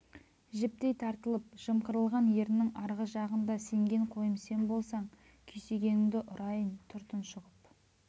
жіптей тартылып жымқырылған еріннің арғы жағында сенген қойым сен болсаң күйсегеніңді ұрайын тұр тұншығып